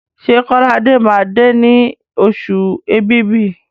Ṣé Kọ́ládé máa dé ní oṣù Èbìbí?